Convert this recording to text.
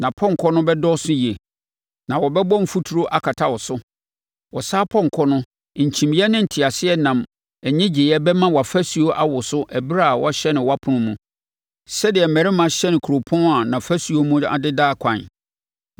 Nʼapɔnkɔ no bɛdɔɔso yie, na wɔbɛbɔ mfuturo akata wo so. Ɔsa apɔnkɔ no, nkyimiiɛ ne nteaseɛnam nnyegyeeɛ bɛma wʼafasuo awoso ɛberɛ a wɔahyɛne wɔapono mu, sɛdeɛ mmarima hyɛne kuropɔn a nʼafasuo mu adeda akwan.